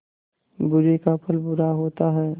बुरे का फल बुरा होता है